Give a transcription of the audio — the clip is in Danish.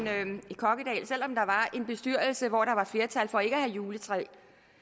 en bestyrelse hvor der var flertal for ikke at have juletræ